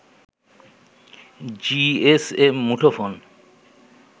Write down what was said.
GSM মুঠোফোন